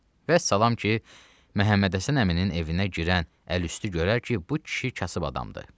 Vəssalam ki, Məhəmmədhəsən əminin evinə girən əl üstü görər ki, bu kişi kasıb adamdır.